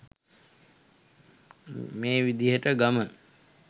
මේ විදිහට ගම